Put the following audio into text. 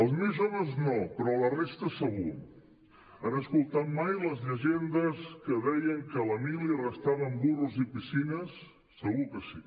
els més joves no però la resta segur han escoltat mai les llegendes que deien que a la mili arrestaven burros i piscines segur que sí